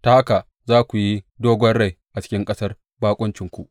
Ta haka za ku yi dogon rai a cikin ƙasar baƙuncinku.’